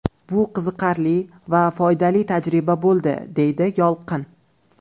Bu qiziqarli va foydali tajriba bo‘ldi, deydi Yolqin.